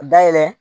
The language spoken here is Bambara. Dayɛlɛ